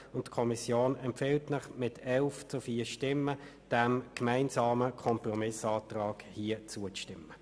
Die Kommission empfiehlt Ihnen mit 11 zu 4 Stimmen, diesem gemeinsamen Kompromissantrag zuzustimmen.